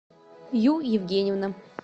ю евгеньевна